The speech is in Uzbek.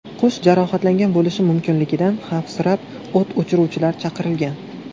Qush jarohatlangan bo‘lishi mumkinligidan xavfsirab, o‘t o‘chiruvchilar chaqirilgan.